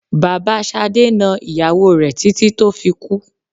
Bàbá Ṣadé na ìyàwó rẹ títí tó fi kú.